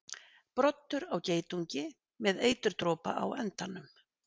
Broddur á geitungi með eiturdropa á endanum.